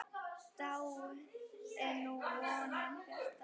Dáin er nú vonin bjarta.